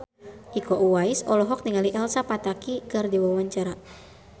Iko Uwais olohok ningali Elsa Pataky keur diwawancara